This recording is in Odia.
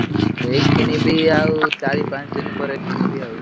ଏଇ କିଣିବି ଆଉ ଚାରି ପାଞ୍ଚ ଦିନ ପରେ କିଣିବି ଆଉ।